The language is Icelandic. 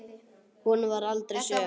Hún varð aldrei söm.